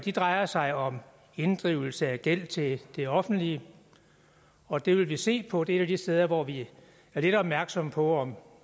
drejer sig om inddrivelse af gæld til det offentlige og det vil vi se på det er et af de steder hvor vi er lidt opmærksomme på om